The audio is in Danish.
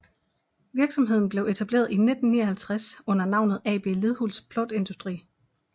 Virksomheden blev etableret i 1959 under navnet AB Lidhults Plåtindustri